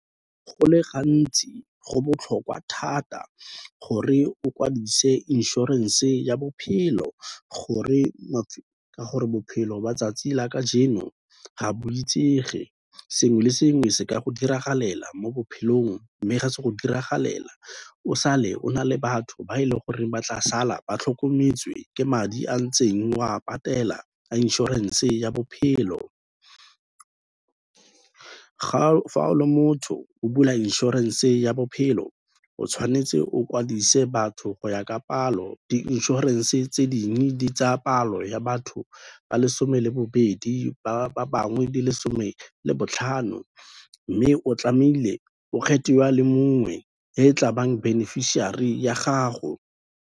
Go le gantsi go botlhokwa thata gore o kwadise inšorense ya bophelo ka gore bophelo ba 'tsatsi la kajeno ga bo itsege, sengwe le sengwe se ka go diragalela mo bophelong. Mme ga se go diragalela o sa le o na le batho ba e leng gore batla sala ba tlhokometswe ke madi a ntseng oa patela a inšorense ya bophelo, fa o le motho o bula inšorense ya bophelo, o tshwanetse o kwadise batho go ya ka palo, di inšorense tse dingwe di tsaya palo ya batho ba le some le bobedi ba bangwe di le some le botlhano mme o tlamehile o kgethe a le mongwe e tla bang beneficiary ya gago.